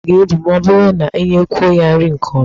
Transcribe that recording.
Ọkụkọ a ga-ebu ma ọ bụrụ na inyekwuo ya nri nke ọma.